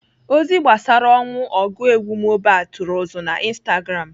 Ozi gbasara ọnwụ ọgụ egwu bụ Mohbad tụrụ ụzụ na Instagram.